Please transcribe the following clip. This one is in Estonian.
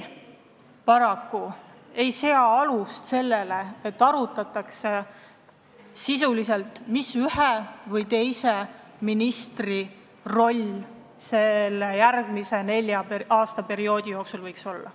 Paraku ei pane see alust sellele, et arutatakse sisuliselt, mis ühe või teise ministri roll nelja aasta jooksul võiks olla.